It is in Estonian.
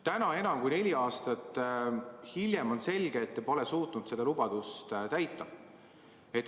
Täna, enam kui neli aastat hiljem on selge, et te pole suutnud seda lubadust täita.